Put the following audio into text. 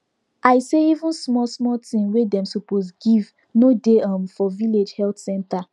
i say even small small thing wey dem suppose give no dey um for village health center